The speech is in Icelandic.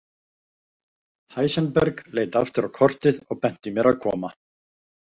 Heisenberg leit aftur á kortið og benti mér að koma.